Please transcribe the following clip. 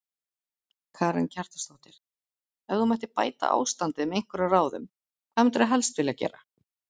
Karen Kjartansdóttir: Ef þú mættir bæta ástandið með einhverjum ráðum, hvað myndirðu helst vilja gera?